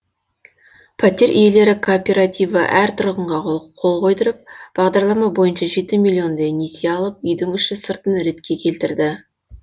пәтер иелері кооперативі әр тұрғынға қол қойдырып бағдарлама бойынша жеті миллиондай несие алып үйдің іші сыртын ретке келтірді